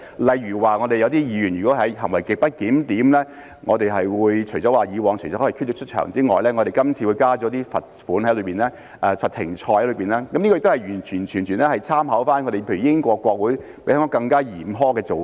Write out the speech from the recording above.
例如有些議員如果行為極不檢點，除了以往可以驅逐出場之外，我們今次會加入一些罰款、罰"停賽"，這些完全是參考了例如英國國會比香港更加嚴苛的做法。